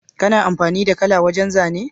Kana amfani da kala wajan zane?